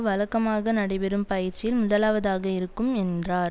வழக்கமாக நடைபெறும் பயிற்சியில் முதலாவதாக இருக்கும் என்றார்